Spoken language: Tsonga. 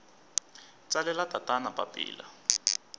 tsalela tatana papila